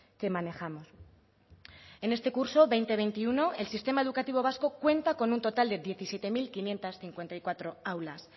que manejamos en este curso veinte veintiuno el sistema educativo vasco cuenta con un total de diecisiete mil quinientos cincuenta y cuatro aulas